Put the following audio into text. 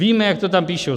Víme, jak to tam píší.